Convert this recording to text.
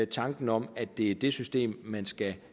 tanken om at det er det system man skal